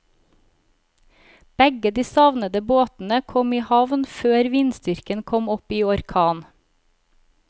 Begge de savnede båtene kom i havn før vindstyrken kom opp i orkan.